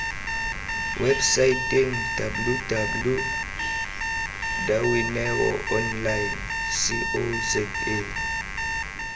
websaeteng www dawineonline co za